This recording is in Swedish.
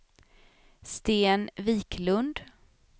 Sten Wiklund